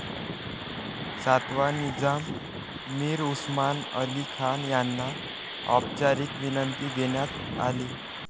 सातवा निजाम, मीर उस्मान अली खान यांना औपचारीक विनंती देण्यात आली.